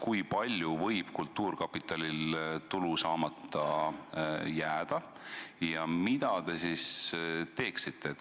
Kui palju võib kultuurkapitalil tulu saamata jääda ja mida te siis teeksite?